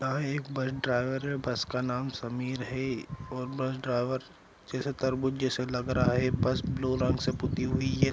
यह एक bus driver है बस का नाम समीर है और बस ड्राइवर जैसा तरबूज जैसा लग रहा है बस ब्लू रंग के पुती हुई है ।